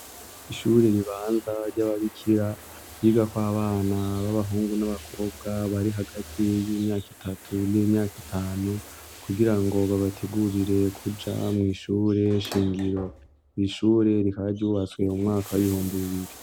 Ishure ribanza ry'ababikira, ryigako abana b'abahungu n'abakobwa bari hagati y'imyaka itatu n'imyaka itanu, kugira ngo babategurire kuja mw'ishure shingiro. Iri ishure rikaba ryubatswe mu mwaka w'ibihumbi bibiri.